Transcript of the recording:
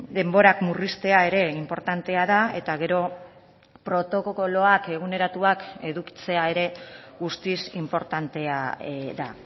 denborak murriztea ere inportantea da eta gero protokoloak eguneratuak edukitzea ere guztiz inportantea da